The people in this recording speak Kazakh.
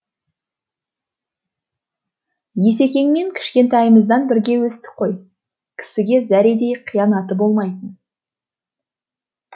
есекеңмен кішкентайымыздан бірге өстік қой кісіге зәредей қиянаты болмайтын